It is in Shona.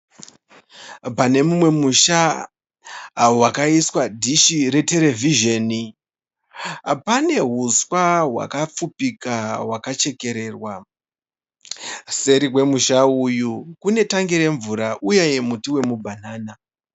Pane mumwe musha wakaiswa dhishi reterevhizheni, pane uswa hwakapfupika hwakachekererwa. Seri kwemusha uyu kune tangi remvura uye muti womubhanana.